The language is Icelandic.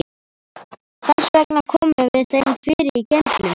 Þess vegna komum við þeim fyrir í geymslunum.